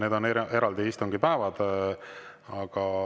Need on eraldi istungipäevad.